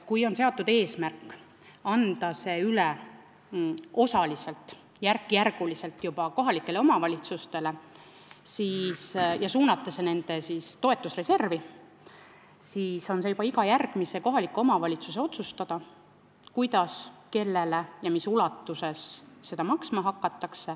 Kui on eesmärk anda need toetused osaliselt, järk-järgult üle kohalikele omavalitsustele, suunata see nende toetusreservi, siis on see juba iga kohaliku omavalitsuse otsustada, kuidas, kellele ja mis ulatuses seda toetust maksma hakatakse.